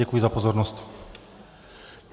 Děkuji za pozornost.